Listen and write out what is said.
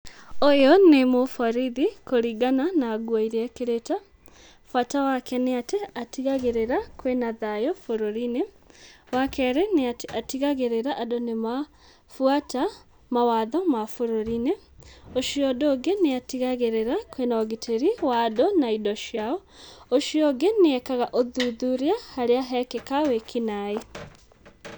Ũyũ nĩ mũborithi kũringana na nguo iria ekĩrĩte, bata wake nĩ atĩ atigagĩrĩra kwĩna thayu bũrũri-inĩ, wakerĩ nĩ atĩ nĩatigagĩrĩra andũ nĩmabuata mawatho ma bũrũri-inĩ, ũcio ũndũ ũngĩ, nĩatigagĩrĩra kwĩna ũgitĩri wa andũ na indo ciao, ũcio ũngĩ, nĩ ekaga ũthuthuria harĩa hekĩka wĩkinaĩ.